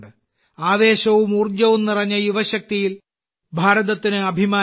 ആവേശവും ഊർജവും നിറഞ്ഞ യുവശക്തിയിൽ ഭാരതത്തിന് അഭിമാനമുണ്ട്